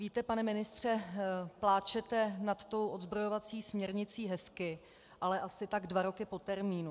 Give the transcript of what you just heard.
Víte, pane ministře, pláčete nad tou odzbrojovací směrnicí hezky, ale asi tak dva roky po termínu.